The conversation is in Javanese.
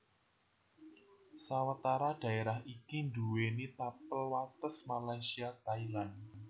Sawetara dhaerah iki nduwèni tapel wates Malaysia Thailand